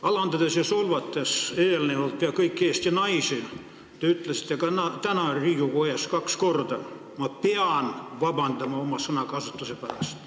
Alandanud ja solvanud pea kõiki Eesti naisi, te ütlesite ka täna Riigikogu ees kaks korda: ma pean vabandama oma sõnakasutuse pärast.